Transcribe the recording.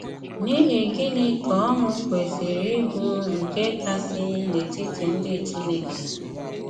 N’íhì gịnì ka ọṅụ kwesìrì íbụ nke kasị n’etítí ndị Chínèkè?